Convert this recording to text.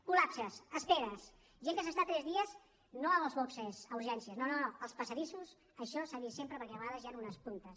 col·lapses esperes gent que s’està tres dies no als boxs a urgències no no als passadissos això s’ha vist sempre perquè a vegades hi han unes puntes